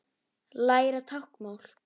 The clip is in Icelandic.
Læra táknmál